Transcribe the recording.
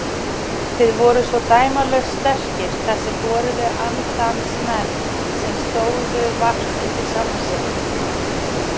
Þið voruð svo dæmalaust sterkir þessir horuðu andans menn sem stóðuð vart undir sjálfum ykkur.